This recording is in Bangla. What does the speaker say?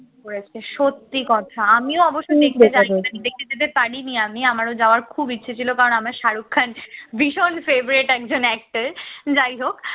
করেছে সত্যি কথা আমিও আমিও অবশ্য দেখতে যায়নি দেখতে যেতে পারিনি। আমি আমারও যাওয়ার খুব ইচ্ছা ছিল কারণ আমার শাহরুখ খান ভীষণ favourite একজন actor যাই হোক